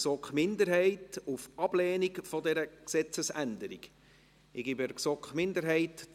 Kommissionsprecherin der GSoK-Minderheit.